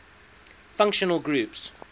functional groups